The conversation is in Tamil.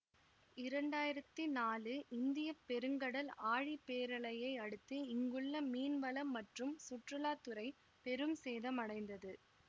இரண்டாயிரத்தி நாலு இந்திய பெருங்கடல் ஆழிபேரலையை அடுத்து இங்குள்ள மீன்வளம் மற்றும் சுற்றுலா துறை பெரும் சேதம் அடைந்தது